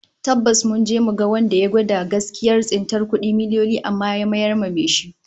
Tabbas, mun je mu ga wanda ya gwada gaskiyar tsintar kudi miliyoyi amma ya mayar wa mai shi